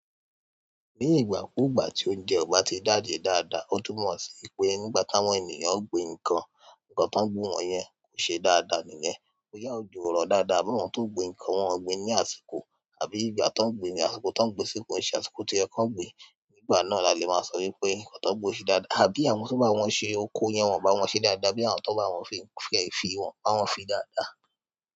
Ni ìgbà kú ìgbà tí oúnjẹ ọ̀bà ti jáde dáadáa, ó tún mọ̀ sí pé nígbà táwọn ènìyàn ń gbin ǹkan, ǹkan tán gbin ọ yẹ kò ṣe dáadáa nìyẹn. Boyá ojo ọ̀rọ̀ dáadáa àbí awọ́n tó ń gbin ǹkan wọ́n gbin ní àsìkò àbí ìgbà tó ń gbin, àsìkò tó ń gbin sí ko se, àsìkò to yẹ kó gbin. Nígbà náà la le máa sọ wípé ǹkan tán gbin ṣe dáadáa. Àbí àwọn to bá wọ́n ṣe oko yẹn, wọ́n bá wọn ṣe dáadáa àbí àwọn tó bá wọ́n fi ẹ̀ fi wọn bá wọn fi dáadáa.